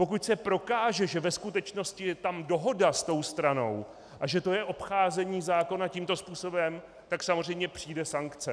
Pokud se prokáže, že ve skutečnosti je tam dohoda s tou stranou a že to je obcházení zákona tímto způsobem, tak samozřejmě přijde sankce.